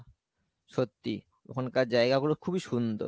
সত্যি ওখানকার জায়গা গুলো খুবই সুন্দর ।